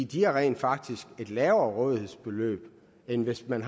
de har rent faktisk et lavere rådighedsbeløb end hvis man